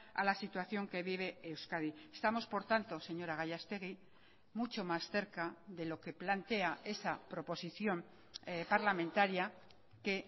a la situación que vive euskadi estamos por tanto señora gallastegui mucho más cerca de lo que plantea esa proposición parlamentaria que